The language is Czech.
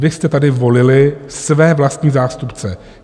Vy jste tady volili své vlastní zástupce.